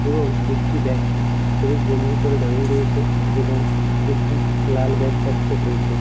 এবং একটি ব্যক্তি হলুদ গেঞ্জি পরে দাঁড়িয়ে রয়েছে এবং একটি লাল ব্যাগ তার পিঠে ঝুলছে।